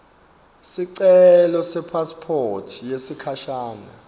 sicelo sepasiphothi yesikhashana